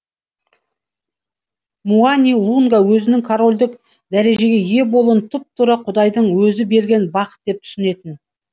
муани лунга өзінің корольдік дәрежеге ие болуын тұп тура құдайдың өзі берген бақыт деп түсінетін